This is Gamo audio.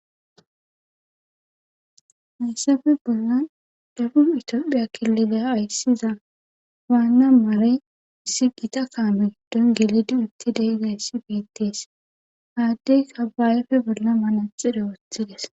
hayssafe bolan dabub itoophiya kilileya hayssiza waanna mare siqita kaame giddon geledi utti deizayssi beettees haaddeyka baayefe bolla manaxire wothides